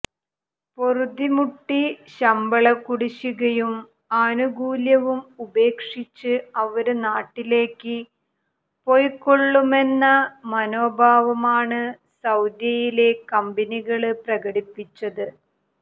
പൊറുതിമുട്ടി ശമ്പള കുടിശ്ശികയും ആനുകൂല്യവും ഉപേക്ഷിച്ച് അവര് നാട്ടിലേക്ക് പോയിക്കൊള്ളുമെന്ന മനോഭാവമാണ് സൌദിയിലെ കമ്പനികള് പ്രകടിപ്പിച്ചത്